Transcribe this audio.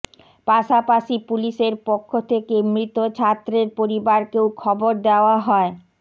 পাশাপাশি পুলিশের পক্ষ থেকে মৃত ছাত্রের পরিবারকেও খবর দেওয়া হয়